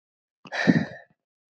Reynir þetta mikið á krafta?